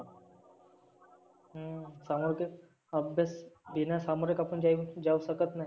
हम्म समोर तेच अभ्यास हे ना सामोरे जाऊ शकत नाही.